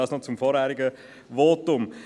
Das noch zum vorhergehenden Votum.